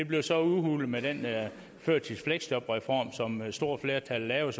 blev så udhulet med den førtidsfleksjobreform som et stort flertal lavede